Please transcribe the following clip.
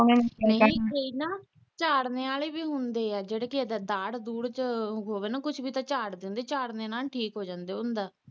ਨਹੀਂ ਕਈ ਨਾ ਚਾੜਨੇ ਵਾਲੇ ਵੀ ਹੁੰਦੇ ਆ ਜਿਹੜੇ ਕ ਏਦਾ ਦਾੜ ਢੂਡ ਚ ਹੋਵੇ ਨਾ ਕੁਛ ਵੀ ਤੇ ਚਾੜ ਦਿੰਦੇ ਚਾੜਨੇ ਨਾਲ ਵੀ ਠੀਕ ਹੋ ਜਾਂਦੇ ਹੁੰਦਾ